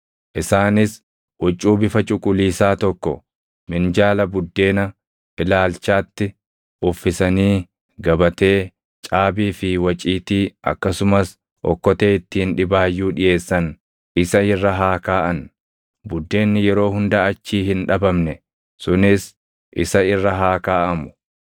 “Isaanis huccuu bifa cuquliisaa tokko minjaala Buddeena Ilaalchaatti uffisanii gabatee, caabii fi waciitii akkasumas okkotee ittiin dhibaayyuu dhiʼeessan isa irra haa kaaʼan; buddeenni yeroo hunda achii hin dhabamne sunis isa irra haa kaaʼamu.